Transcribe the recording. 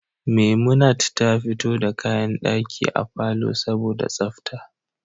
Memunant ta fito da kayan daki a palour saboda tsafta